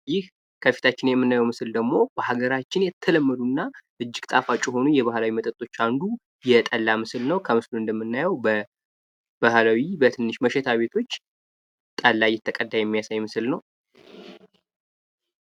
ይህ ከፊታቸው የምናየው ምስል ደሞ በሃገራችን የተለመዱ እና እጅግ ጣፋጭ ከሆኑ ባህላዊ መጠጦች አንዱ የጠላ ምስል ነው ። በስእሉ ላይ እንደምናየው በባህላዊ መሸታ ቤቶች ጠላ እይተቀዳ የሚያሳይ ምስል ነው።